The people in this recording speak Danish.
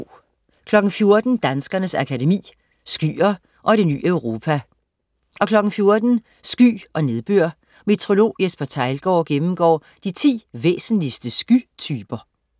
14.00 Danskernes Akademi. Skyer og Det ny Europa 14.00 Sky og nedbør. Meteorolog Jesper Theilgaard gennemgår de 10 væsentligste skytyper